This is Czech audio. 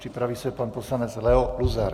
Připraví se pan poslanec Leo Luzar.